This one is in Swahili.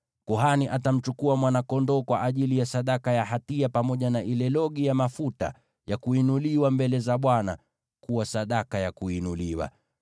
Kuhani atamchukua mwana-kondoo kwa ajili ya sadaka ya hatia, pamoja na ile logi ya mafuta ya kuinuliwa mbele za Bwana kuwa sadaka ya kuinuliwa.